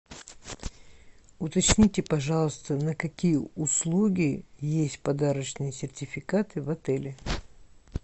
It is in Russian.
уточните пожалуйста на какие услуги есть подарочные сертификаты в отеле